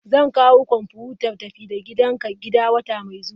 Zan kawo kwamfutar tafi-da-gidanka gida wata mai zuwa.